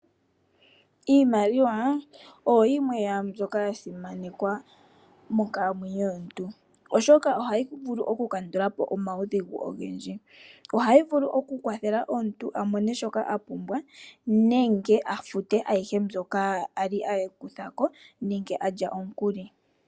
Iimaliwa oyo yimwe yaambyoka yasimanekwa monkalamwenyo yomuntu molwaashoka ohayi vulu okukandula po omaudhigu ogendji, ohayi vulu okukwathela omuntu amone shoka a pumbwa nenge afute shoka ye ali akutha nenge alya omukui.